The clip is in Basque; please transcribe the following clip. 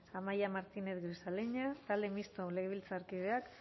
amaia martínez grisaleña talde mistoko legebiltzarkideak